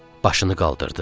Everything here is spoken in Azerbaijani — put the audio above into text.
Başını qaldırdı.